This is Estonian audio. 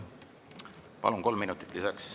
Palun, kolm minutit!